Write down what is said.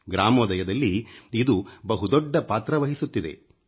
ಗ್ರಾಮೋದಯದಲ್ಲಿ ಇದು ಬಹು ದೊಡ್ಡ ಪಾತ್ರ ವಹಿಸುತ್ತಿದೆ